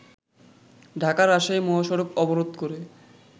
ঢাকা-রাজশাহী মহাসড়ক অবরোধ করে